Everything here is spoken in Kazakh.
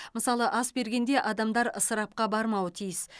мысалы ас бергенде адамдар ысырапқа бармауы тиіс